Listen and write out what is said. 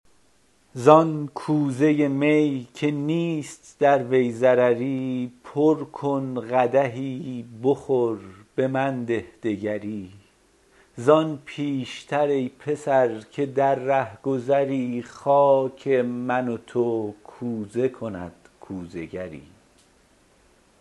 زان کوزه می که نیست در وی ضرری پر کن قدحی بخور به من ده دگری زان پیشتر ای پسر که در رهگذری خاک من و تو کوزه کند کوزه گری